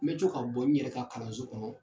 N bɛ to ka bɔ n yɛrɛ ka kalanso kɔnɔ